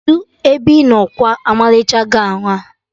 Kedụ ebe ị nọ kwa ọmalịcha gọwn a?